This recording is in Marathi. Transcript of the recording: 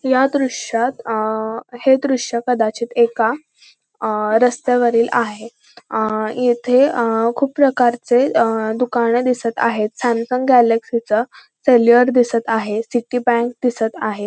या दृश्यात अ हे दृश्य कदाचित एका अ रस्त्यावरील आहे अ येथे अ खूप प्रकारचे अ दुकाने दिसत आहेत सॅमसंग गॅलॅक्सी च सेल्युअर दिसत आहे सिटी बँक दिसत आहे.